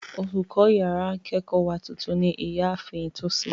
Olùkọ́ yàrá ìkẹ́kọ̀ọ́ wa tuntun ní ìyá ààfin Tosin